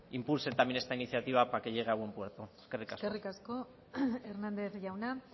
impulsen también esta iniciativa para que llegue a buen puerto eskerrik asko eskerrik asko hernández jauna